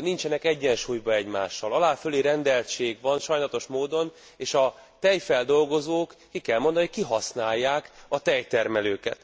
nincsenek egyensúlyban egymással. Alá fölérendeltség van sajnálatos módon és a tejfeldolgozók ki kell mondani kihasználják a tejtermelőket.